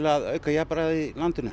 að auka jafnræði í landinu